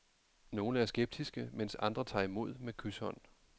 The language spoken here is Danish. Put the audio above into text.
Nogle er skeptiske, mens andre tager imod med kyshånd.